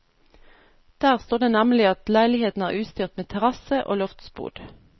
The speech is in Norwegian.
Der står det nemlig at leiligheten er utstyrt med terrasse og loftsbod.